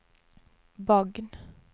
Bagn